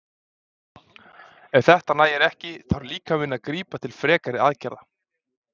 Ef þetta nægir ekki þarf líkaminn að grípa til frekari aðgerða.